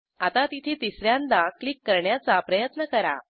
आता तिथे तिस यांदा क्लिक करण्याचा प्रयत्न करा